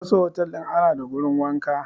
A wasu otel din ana da wajen wanka.